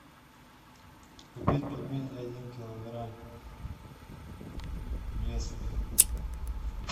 купить пельмени один килограмм местные